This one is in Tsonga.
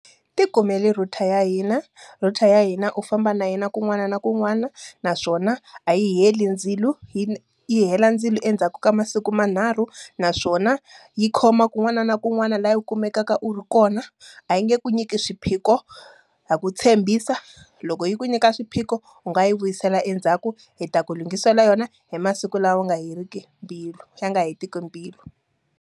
Ti kumele router ya hina. Router ya hina u famba na yona kun'wana na kun'wana. Naswona, a yi heli ndzilo, yi yi hela ndzilo endzhaku ka masiku manharhu. Naswona yi khoma kun'wana na kun'wana laha u kuma tekaka u ri kona, a yi nge ku nyiki swiphiqo. Ha ku tshembisa, loko yi ku nyika swiphiqo u nga yi vuyisela endzhaku hi ta ku lunghisela yona hi masiku lawa wu nga heriki mbilu ya nga ha hetiki mbilu.